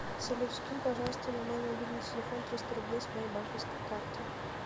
салют скинь пожалуйста на мой мобильный телефон триста рублей с моей банковской карты